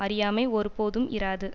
அறியாமை ஒருபோதும் இராது